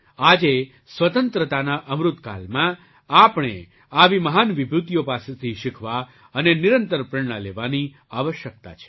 આજે સ્વતંત્રતાના અમૃતકાલમાં આપણે આવી મહાન વિભૂતિઓ પાસેથી શીખવા અને નિરંતર પ્રેરણા લેવાની આવશ્યકતા છે